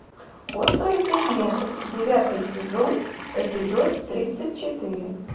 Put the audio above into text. острые предметы девятый сезон эпизод тридцать четыре